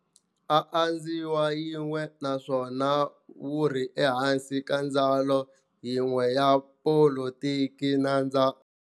A dzhawini yin'we naswona wuri ehansi ka ndzawulo yin'we ya Politiki nandza.